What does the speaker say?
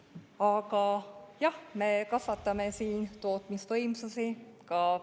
Aga jah, me kasvatame siin tootmisvõimsusi.